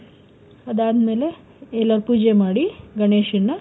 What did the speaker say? ಅದಾದ್ಮೇಲೆ ಎಲ್ಲ ಪೂಜೆ ಮಾಡಿ ಗಣೇಶನ್ನ,